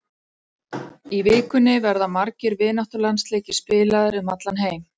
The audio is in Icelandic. Í vikunni verða margir vináttulandsleikir spilaðir um allan heim.